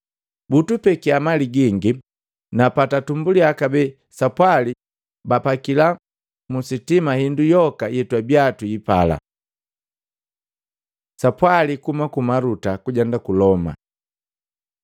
Butupekiya mali gingi, na patatumbuliya kabee sapwali, bapakila musitima indu yoka yetwabia twiipala.” Sapwali kuhuma ku Maluta kujenda ku Loma